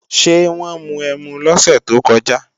Ṣé wọ́n mu ẹmu lọ́sẹ̀ tó kọjá?